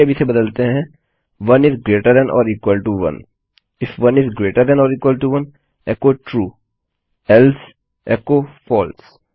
चलिए अब इसे बदलते हैं 1 gt 1 if 1 gt 1 echo true else echo false